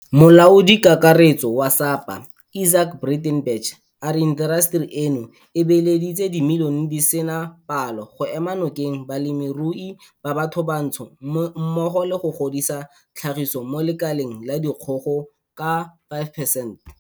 Molaodikakaretso wa SAPA Izaak Breitenbach a re intaseteri eno e beeleditse dimilione di sena palo go ema nokeng balemirui ba bathobatsho mmogo le go godisa tlhagiso mo lekaleng la dikgogo ka 5 percent.